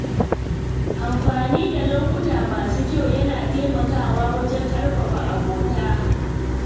Amfani da lokuta masu kyau yana taimakawa wajen ƙarfafa abota.